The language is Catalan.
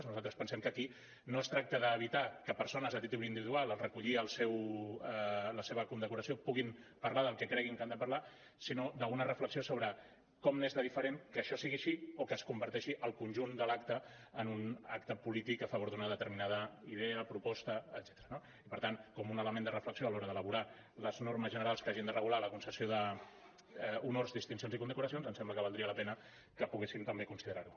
nosaltres pensem que aquí no es tracta d’evitar que persones a títol individual en recollir la seva condecoració puguin parlar del que creguin que han de parlar sinó d’una reflexió sobre com n’és de diferent que això sigui així o que es converteixi el conjunt de l’acte en un acte polític a favor d’una determinada idea proposta etcètera no i per tant com un element de reflexió a l’hora d’elaborar les normes generals que hagin de regular la concessió d’honors distincions i condecoracions em sembla que valdria la pena que poguessin també considerar ho